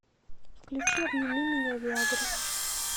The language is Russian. включи обними меня виа гры